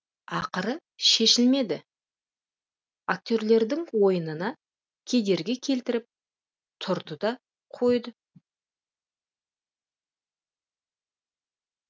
ақыры шешілмеді актерлердің ойынына кедергі келтіріп тұрды да қойды